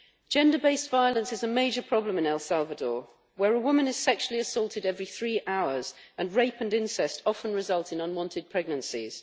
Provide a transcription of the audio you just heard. Gender based violence is a major problem in El Salvador, where a woman is sexually assaulted every three hours and rape and incest often result in unwanted pregnancies.